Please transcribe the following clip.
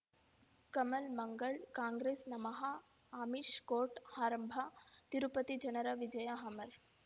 ಕಮಲ್ ಮಂಗಳ್ ಕಾಂಗ್ರೆಸ್ ನಮಃ ಅಮಿಷ್ ಕೋರ್ಟ್ ಆರಂಭ ತಿರುಪತಿ ಜನರ ವಿಜಯ ಅಮರ್